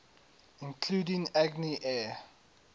including agni air